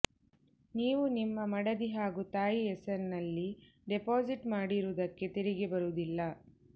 ನೀವು ನಿಮ್ಮ ಮಡದಿ ಹಾಗೂ ತಾಯಿ ಹೆಸರಿನಲ್ಲಿ ಡಿಪಾಸಿಟ್ ಮಾಡಿರುವುದಕ್ಕೆ ತೆರಿಗೆ ಬರುವುದಿಲ್ಲ